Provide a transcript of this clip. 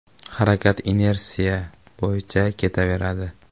Harakat inersiya bo‘yicha ketaveradi.